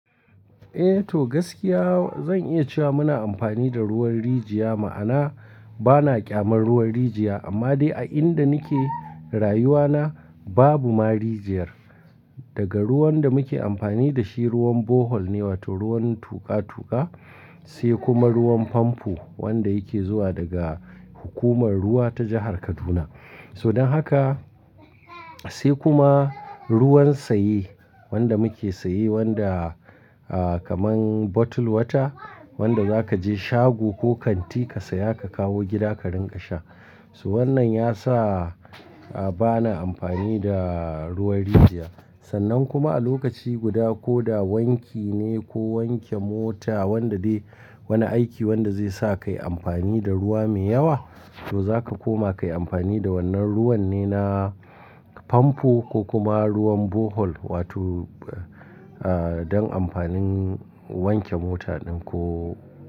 Eh to gaskiya zan iya cewa muna amfani da ruwan rijiya ma'ana bana ƙyamar ruwan rijiya amma dai a inda nake rayuwa na babu ma rijiyar. Daga ruwan da muke amfani da shi ruwan borehole ne wato ruwan tuƙa tuƙa sai kuma ruwan famfo wanda yake zuwa daga hukumar ruwa ta jahar Kaduna. So dan haka sai kuma ruwan saye wanda muke saye wanda ah kaman bottle water wanda zaka je shago ko kanti ka saya ka kawo gida ka rinƙa sha. So wannan ya sa bana amfani da ruwan rijiya sannan kuma a lokaci guda ko da wanki ne ko wanke mota wanda dai wani aiki wanda zai sa kayi amfani da ruwa mai yawa to zaka koma kayi amfani da wannan ruwan ne na famfo ko kuma ruwan borehole wato ah don amfanin wanke mota ɗin ko.